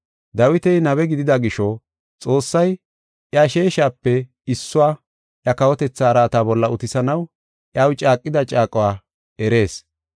Dawiti nabe gidida gisho, Xoossay iya sheeshape issuwa iya kawotetha araata bolla utisanaw iyaw caaqida caaquwa erees.